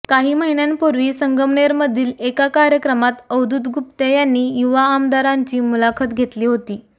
काही महिन्यांपूर्वी संगमनेरमधील एका कार्यक्रमात अवधूत गुप्ते यांनी युवा आमदारांची मुलाखत घेतली होती